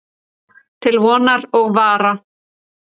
Til vonar og vara.